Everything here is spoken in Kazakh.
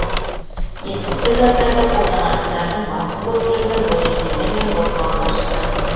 есірткі заттарды қолданатындардың басым көпшілігіне бойжеткендер мен бозбалалар жатады